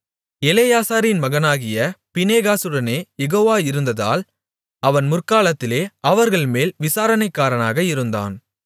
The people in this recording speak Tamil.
எலெயாசாரின் மகனாகிய பினேகாசுடனே யெகோவா இருந்ததால் அவன் முற்காலத்திலே அவர்கள்மேல் விசாரணைக்காரனாக இருந்தான்